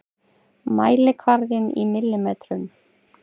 Mælikvarðinn í millimetrum.